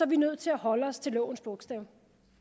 vi nødt til at holde os til lovens bogstav